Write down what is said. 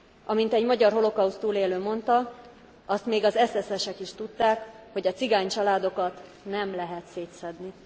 Amint egy magyar holokauszt túlélő mondta azt még az SS esek is tudták, hogy a cigány családokat nem lehet szétszedni.